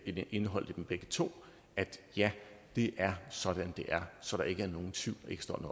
er indeholdt i dem begge to er det sådan det er så der ikke